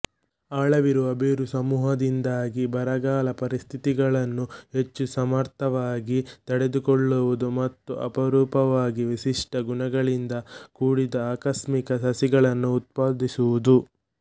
ಆಳವಿರುವ ಬೇರುಸಮೂಹದಿಂದಾಗಿ ಬರಗಾಲ ಪರಿಸ್ಥಿತಿಗಳನ್ನು ಹೆಚ್ಚು ಸಮರ್ಥವಾಗಿ ತಡೆದುಕೊಳ್ಳುವುದು ಮತ್ತು ಅಪರೂಪವಾಗಿ ವಿಶಿಷ್ಟ ಗುಣಗಳಿಂದ ಕೂಡಿದ ಆಕಸ್ಮಿಕ ಸಸಿಗಳನ್ನು ಉತ್ಪಾದಿಸುವುದು